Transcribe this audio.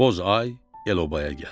Bozay el-obaya gəldi.